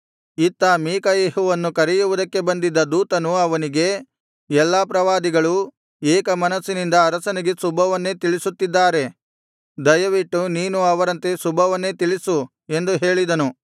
ಇತ್ತ ಮೀಕಾಯೆಹುವನ್ನು ಕರೆಯುವುದಕ್ಕೆ ಬಂದಿದ್ದ ದೂತನು ಅವನಿಗೆ ಎಲ್ಲಾ ಪ್ರವಾದಿಗಳೂ ಏಕ ಮನಸ್ಸಿನಿಂದ ಅರಸನಿಗೆ ಶುಭವನ್ನೇ ತಿಳಿಸುತ್ತಿದ್ದಾರೆ ದಯವಿಟ್ಟು ನೀನೂ ಅವರಂತೆ ಶುಭವನ್ನೇ ತಿಳಿಸು ಎಂದು ಹೇಳಿದನು